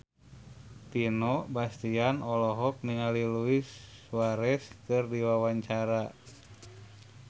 Vino Bastian olohok ningali Luis Suarez keur diwawancara